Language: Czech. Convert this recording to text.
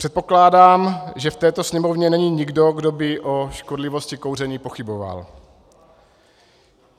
Předpokládám, že v této Sněmovně není nikdo, kdo by o škodlivosti kouření pochyboval.